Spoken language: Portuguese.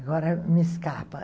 Agora me escapa.